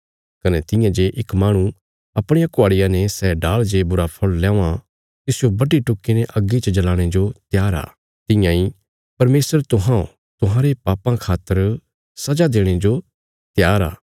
कने तियां जे इक माहणु अपणिया कुहाड़िया ने सै डाल़ जे बुरा फल़ ल्यावां तिसजो बड्डी टुक्की ने अग्गी च जल़ाणे जो त्यार आ तियां इ परमेशर तुहौं तुहांरे पापां खातर सजा देणे जो त्यार आ